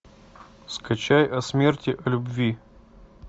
скачай о смерти о любви